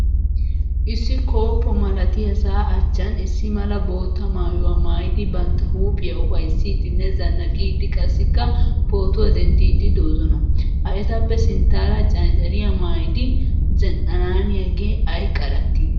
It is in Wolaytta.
Issi kooppo malatiyaasa achchaan issi mala bootta maayuwaa maayidi bantta huuphphiya ufayssidinne zanaqqidi qassikka pootuwa dendiid doosona. Ha etappe sinttaara canccariya maayidi zin'annaniyaage ay qaratti.